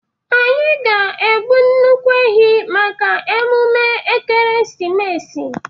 Anyị ga-egbu nnukwu ehi maka mmemme Ekeresimesi.